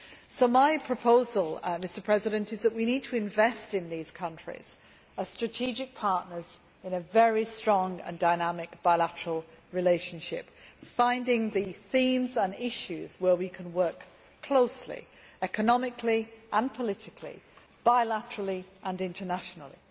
So my proposal is that we need to invest in these countries as strategic partners in a very strong and dynamic bilateral relationship, finding the themes and issues on which we can work closely economically and politically, bilaterally and internationally.